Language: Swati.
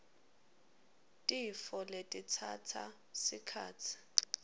tifo letitsatsa sikhatsi